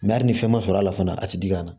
hali ni fɛn ma sɔrɔ a la fana a ti dig'a la